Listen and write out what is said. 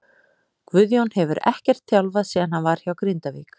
Guðjón hefur ekkert þjálfað síðan hann var hjá Grindavík.